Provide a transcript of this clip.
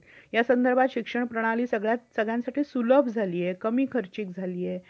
motor वाहन नियम एकोणीशे ऐकोनव्वदचे नियम विम्याचे प्रमाणपत्र policy द्वारे